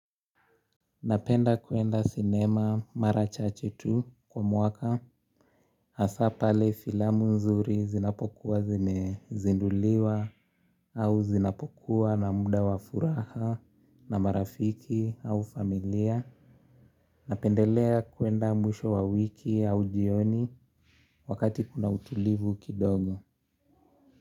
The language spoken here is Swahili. Napenda kwenda cinema mara chache tu kwa mwaka. Hasa pale filamu nzuri zinapokuwa zimezinduliwa au zinapokuwa na muda wa furaha na marafiki au familia. Napendelea kwenda mwisho wa wiki au jioni wakati kuna utulivu kidogo.